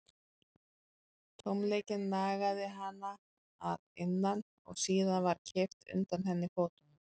Tómleikinn nagaði hana að innan og síðan var kippt undan henni fótunum.